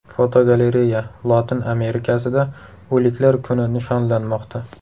Fotogalereya: Lotin Amerikasida O‘liklar kuni nishonlanmoqda.